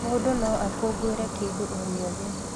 Mũndũ no akũngũĩre kĩndũ o gĩothe